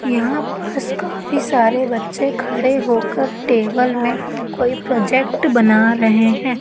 यहां पास काफी सारे बच्चे खड़े होकर टेबल में कोई प्रोजेक्ट बना रहे हैं।